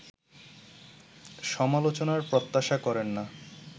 সমালোচনার প্রত্যাশা করেন না